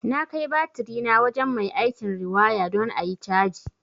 Na kai batirina wajen mai aikin riwaya don ayi caji